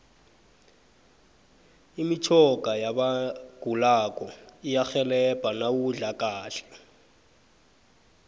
imitjhoga yabagulako iyarhelebha nawudla kahle